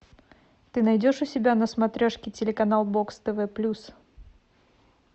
ты найдешь у себя на смотрешке телеканал бокс тв плюс